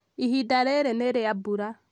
ihinda rĩrĩ nĩ rĩa mbura